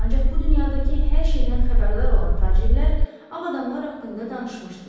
Ancaq bu dünyadakı hər şeydən xəbərdar olan tacirlər ağ adamlar haqqında danışmışdılar.